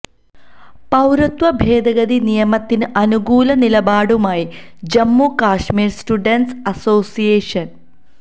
പൌരത്വ ഭേദഗതി നിയമത്തിന് അനുകൂല നിലപാടുമായി ജമ്മു കശ്മീര് സ്റ്റുഡന്റ്സ് അസോസിയേഷന്